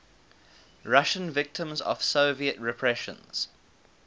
russian victims of soviet repressions